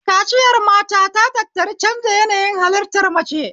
Kaciyar mata ta tattari canja yanayi halittar mace